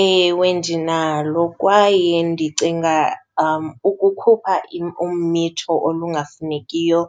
Ewe, ndinalo kwaye ndicinga ukukhupha umithi olungafunekiyo